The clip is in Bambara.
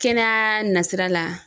Kɛnɛya nasira la.